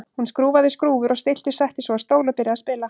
Hún skrúfaði skrúfur og stillti, settist svo á stól og byrjaði að spila.